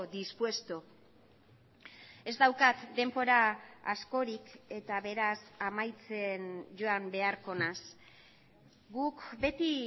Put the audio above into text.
dispuesto ez daukat denbora askorik eta beraz amaitzen joan beharko naiz guk beti